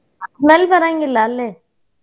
Smell ಬರಾಂಗಿಲ್ಲಾ ಲೇ.